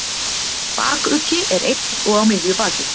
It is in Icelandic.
Bakuggi er einn og á miðju baki.